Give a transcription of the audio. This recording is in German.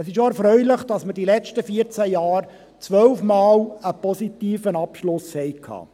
Es ist auch erfreulich, dass wir die letzten 14 Jahre 12-mal einen positiven Abschluss hatten.